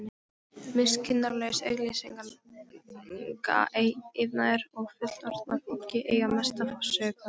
Miskunnarlaus auglýsingaiðnaður og fullorðna fólkið eiga mesta sök á þessu.